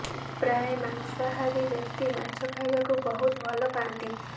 ପ୍ରାୟ ମାଂସାହାରୀ ବ୍ୟକ୍ତି ମାଛ ଖାଇବାକୁ ବହୁତ ଭଲ ପାଆନ୍ତି